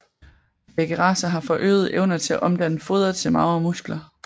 Begge racer har forøgede evner til at omdanne foder til magre muskler